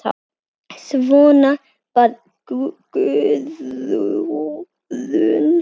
Svona var Guðrún.